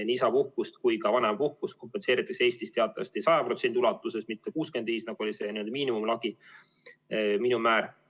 Nii isapuhkust kui ka vanemapuhkust kompenseeritakse Eestis teatavasti 100% ulatuses, mitte 65%, nagu oli miinimummäär.